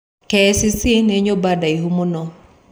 KICC nĩ Nyũmba ndaihu mũno